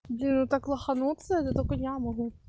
блин ну так лохануться это только я могу